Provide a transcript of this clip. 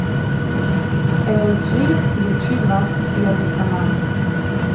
эл джи включи двадцать первый канал